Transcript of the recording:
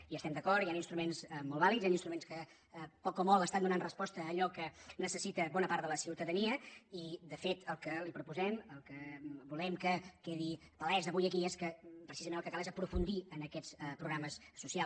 hi estem d’acord hi han instruments molt vàlids hi han instruments que poc o molt estan donant resposta a allò que necessita bona part de la ciutadania i de fet el que li proposem el que volem que quedi palès avui aquí és que precisament el que cal és aprofundir en aquests programes socials